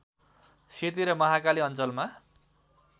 सेती र महाकाली अञ्चलमा